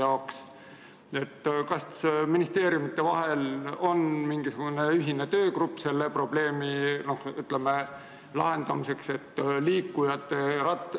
Kas meil on mingisugune ühine, ministeeriumidevaheline töögrupp selle probleemi lahendamiseks?